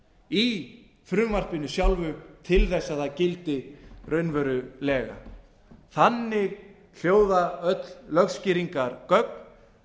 í frumvarpinu sjálfu til þess að það gildi raunverulega þannig hljóða öll lögskýringargögn